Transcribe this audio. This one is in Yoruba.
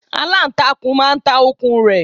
Aláǹtakùn máa ta okùn rẹ̀